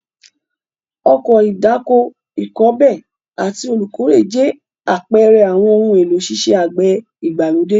Ọkọ̀ ìdáko, ìkọbè àti olùkórè jẹ́ àpẹẹrẹ àwọn ohun èlò iṣẹ́ àgbẹ̀ ìgbàlódé.